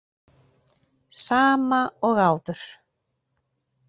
Sama og áður.